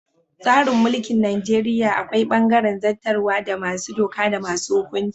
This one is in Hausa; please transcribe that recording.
Tsarin mulkin Najeriya akwai bangaren zattarwa da masu doka da masu hukunci.